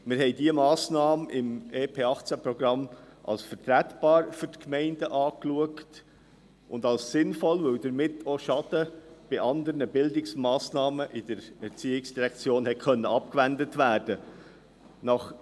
Wir hielten diese Massnahme im EP 2018 gegenüber den Gemeinden als vertretbar und als sinnvoll, weil damit auch Schaden bei anderen Bildungsmassnahmen in der ERZ abgewendet werden konnte.